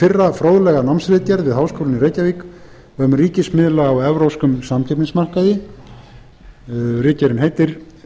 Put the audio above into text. fyrra fróðlega námsritgerð við háskólann í reykjavík um ríkismiðla á evrópskum samkeppnismarkaði ritgerðin heitir